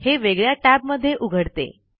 हे वेगळ्या टैब मध्ये उघडते